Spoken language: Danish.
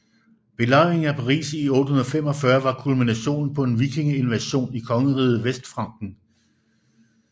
Belejringen af Paris i 845 var kulminationen på en vikingeinvasion i kongeriget Vestfranken